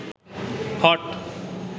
hot